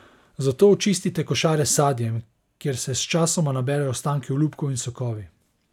Zato očistite košare s sadjem, kjer se sčasoma naberejo ostanki olupkov in sokovi.